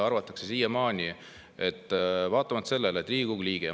Arvatakse siiamaani, et vaatamata sellele, et Riigikogu liige …